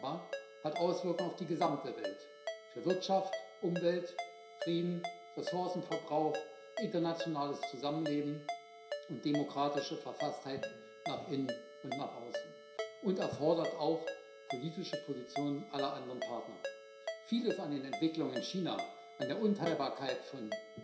Das aber hat Auswirkungen auf die gesamte Welt für Wirtschaft, Umwelt, Frieden, Ressourcenverbrauch, internationales Zusammenleben und demokratische Verfasstheit nach innen und nach außen und erfordert auch politische Positionen aller anderen Partner. Vieles an den Entwicklungen in China, an der Unteilbarkeit von